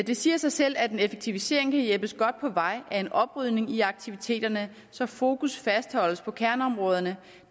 det siger sig selv at en effektivisering kan hjælpes godt på vej af en oprydning i aktiviteterne så fokus fastholdes på kerneområderne